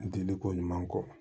Dili ko ɲuman kɔ